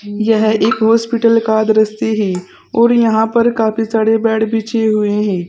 यह एक हॉस्पिटल का दृश्य है और यहां पर काफी सारे बेड बिछे हुए हैं।